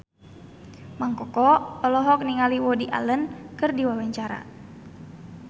Mang Koko olohok ningali Woody Allen keur diwawancara